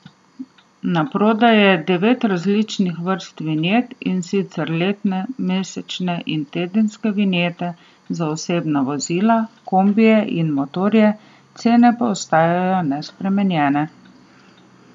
Na prodaj je devet različnih vrst vinjet, in sicer letne, mesečne in tedenske vinjete za osebna vozila, kombije in motorje, cene pa ostajajo nespremenjene.